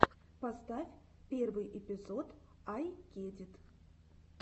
поставь первый эпизод ай кедит